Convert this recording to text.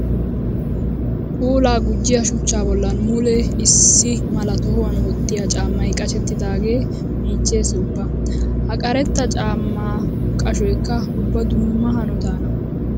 Puula gujjiya shuchcha bollan mule issi mala tohuwan wottiyo caamay qashettidaage miiches ubba. Ha karetta caama qashoykka ubba dumma hanotanna.